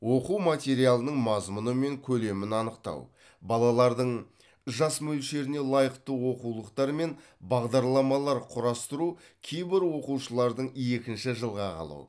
оқу материалының мазмұны мен көлемін анықтау балалардың жас мөлшеріне лайықты оқулықтар мен бағдарламалар құрастыру кейбір оқушылардың екінші жылға қалу